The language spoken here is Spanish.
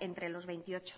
entre los veintiocho